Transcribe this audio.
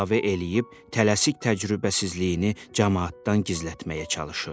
Əlavə eləyib tələsik təcrübəsizliyini camaatdan gizlətməyə çalışırdı.